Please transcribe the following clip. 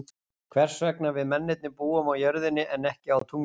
Hvers vegna við mennirnir búum á jörðinni en ekki á tunglinu.